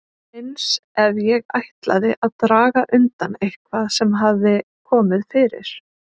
Eins ef ég ætlaði að draga undan eitthvað sem hafði komið fyrir.